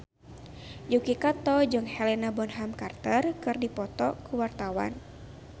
Yuki Kato jeung Helena Bonham Carter keur dipoto ku wartawan